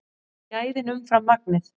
Gæðin umfram magnið